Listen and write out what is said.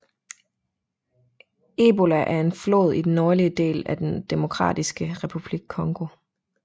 Ebola er en flod i den nordlige del af den Demokratiske Republik Congo